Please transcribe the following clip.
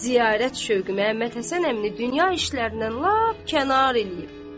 Ziyarət şövqü Məhəmməd Həsən əmini dünya işlərindən lap kənar eləyib.